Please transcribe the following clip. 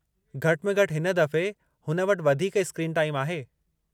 घटि में घटि हिन दफ़े हुन वटि वधीक स्क्रीन टाईम आहे।